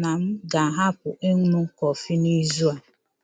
na m ga-ahapụ ịṅụ kọfị n'izu a.